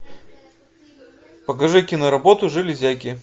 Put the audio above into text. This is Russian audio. покажи киноработу железяки